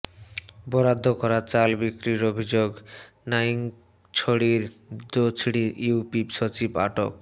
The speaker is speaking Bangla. বরাদ্দ করা চাল বিক্রির অভিযোগ নাইক্ষ্যংছড়ির দোছড়ি ইউপি সচিব আটক